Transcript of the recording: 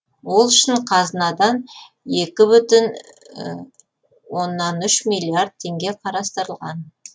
ол үшін қазынадан екі бүтін оннан үш миллиард теңге қарастырылған